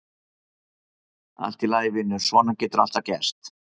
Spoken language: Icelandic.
Allt í lagi, vinur, svona getur alltaf gerst.